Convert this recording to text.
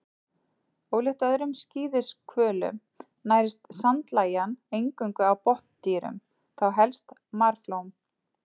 Ólíkt öðrum skíðishvölum nærist sandlægjan eingöngu á botndýrum, þá helst marflóm.